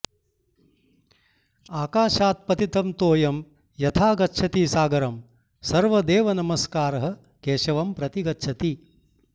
आकाशात् पतितं तोयं यथा गच्छति सागरम् सर्वदेव नमस्कारः केशवं प्रतिगच्छति